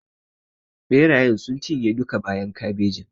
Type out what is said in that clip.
Ɓerayen sun cinye duka bayan kabejin.